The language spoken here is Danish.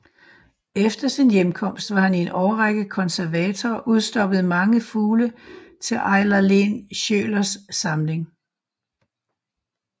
Efter sin hjemkomst var han i en årrække konservator og udstoppede mange fugle til Eiler Lehn Schiølers samling